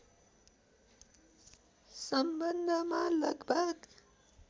सम्बन्धमा लगभग